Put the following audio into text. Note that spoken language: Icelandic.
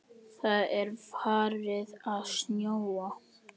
Það er farið að snjóa.